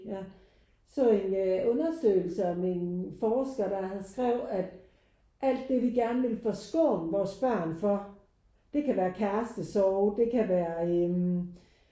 Ja så en undersøgelse om en forsker der skrev at alt det vi gerne vil forskåne vores børn for det kan være kærestesorg det kan være øh